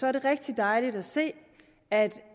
er det rigtig dejligt at se at